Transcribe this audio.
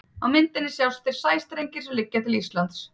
á myndinni sjást þeir sæstrengir sem liggja til íslands